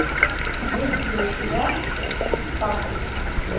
есть ли у тебя экспат